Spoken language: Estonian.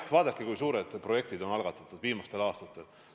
Vaadake, kui suured projektid on algatatud viimastel aastatel!